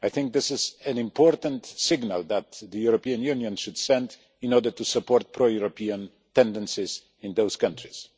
I think this is an important signal that the European Union should send in order to support pro European tendencies in those countries.